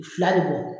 Fila bɛ bɔ